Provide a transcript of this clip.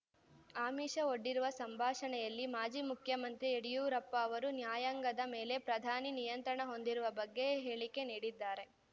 ಆಮಿಷ ಒಡ್ಡಿರುವ ಸಂಭಾಷಣೆಯಲ್ಲಿ ಮಾಜಿ ಮುಖ್ಯಮಂತ್ರಿ ಯಡಿಯೂರಪ್ಪ ಅವರು ನ್ಯಾಯಾಂಗದ ಮೇಲೆ ಪ್ರಧಾನಿ ನಿಯಂತ್ರಣ ಹೊಂದಿರುವ ಬಗ್ಗೆ ಹೇಳಿಕೆ ನೀಡಿದ್ದಾರೆ